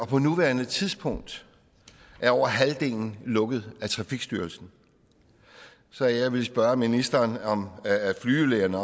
på nuværende tidspunkt er over halvdelen lukket af trafikstyrelsen så jeg vil spørge ministeren om flyvelægerne